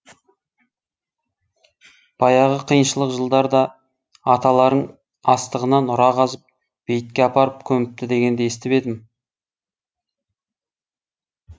баяғы қиыншылық жылдар да аталарың астығына нұра қазып бейітке апарып көміпті дегенді естіп едім